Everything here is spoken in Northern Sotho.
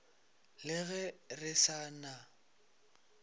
le ge re sa na